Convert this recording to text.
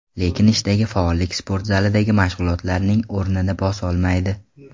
Lekin ishdagi faollik sport zalidagi mashg‘ulotlarning o‘rnini bosolmaydi.